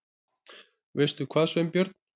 Veistu hvað, Sveinbjörn?